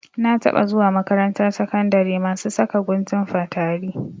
Na taɓa zuwa makarantar sakandari masu saka guntun fatari.